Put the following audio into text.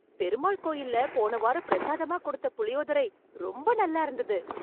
பெருமாள் கோயில்ல போன வாரம் பிரசாதமா கொடுத்த புளியோதரை ரொம்ப நல்லா இருந்தது.